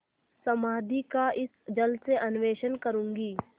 समाधि का इस जल से अन्वेषण करूँगी